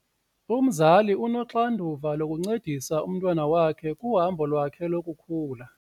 Umzali unoxanduva lokuncedisa umntwana wakhe kuhambo lwakhe lokukhula.